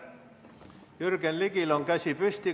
Jürgen Ligil on käsi püsti.